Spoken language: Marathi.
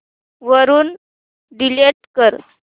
वरून डिलीट कर